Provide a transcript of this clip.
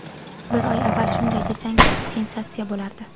Bir oy avval shunday desang, sensatsiya bo‘lardi.